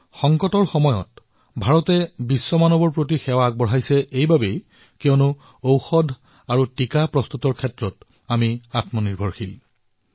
সংকটৰ সময়ত ভাৰতে বিশ্বক এইবাবেই সেৱা প্ৰদান কৰিবলৈ সমৰ্থ হৈছে কিয়নো ভাৰত আজি ঔষধ আৰু প্ৰতিষেধকৰ ক্ষেত্ৰত সক্ষম আৰু আত্মনিৰ্ভৰ হৈ উঠিছে